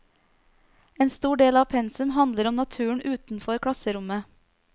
En stor del av pensum handler om naturen utenfor klasserommet.